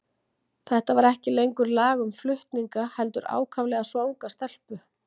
Þetta var ekki lengur lag um flutninga, heldur ákaflega svanga stelpu.